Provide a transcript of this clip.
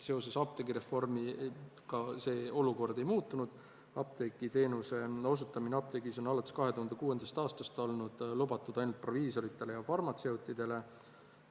Seoses apteegireformiga see olukord ei muutunud, apteegiteenuse osutamine apteegis on alates 2006. aastast olnud lubatud ainult proviisoritele ja farmatseutidele.